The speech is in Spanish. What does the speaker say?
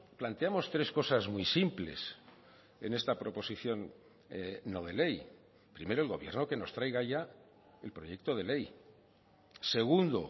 planteamos tres cosas muy simples en esta proposición no de ley primero el gobierno que nos traiga ya el proyecto de ley segundo